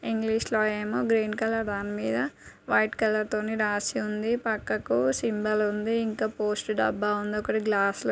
English లో ఏమో green colour దాని మీద వైట్ కలర్తో రాసి ఉంది. పక్కకు సింబల్ ఉంది. ఇంకా పోస్ట్ డబ్బా ఉంది. ఒకటి గ్లాస్ --